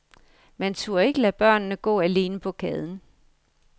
Man turde ikke lade børnene gå alene på gaden.